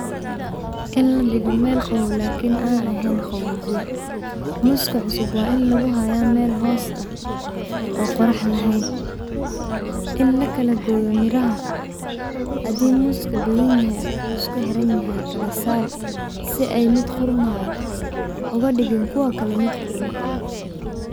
In ladigo mel qaboow lakin aan ahayn qaboojiya. Mooska cusub waa in laguhaya mel hoos ah oo qorax laheyn. In lakalagooyo miraha hadii mooska badanyahy oo isku xiranyahay kalasar si ay mid qurmaayo oga digin kuwa kale mid qurme.